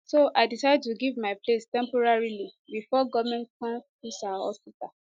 so i decide to give my place temporarily bifor goment go come fix our hospital